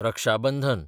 रक्षा बंधन